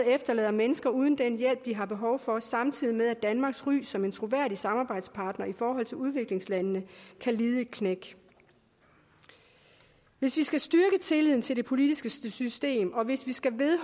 efterlader mennesker uden den hjælp de har behov for samtidig med at danmarks ry som en troværdig samarbejdspartner i forhold til udviklingslandene kan lide et knæk hvis vi skal styrke tilliden til det politiske system og hvis vi skal